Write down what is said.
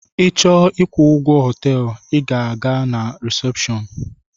Ị chọọ ịkwụ ụgwọ họteelu I gaa na resepshọọnu.